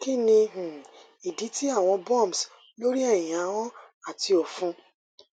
kini um idi ti awọn bumps lori ẹhin ahọn ati ọfun